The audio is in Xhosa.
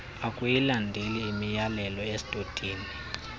akuyilandeli imyalelo estotini